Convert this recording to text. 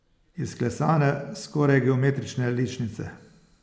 Izklesane, skoraj geometrične ličnice.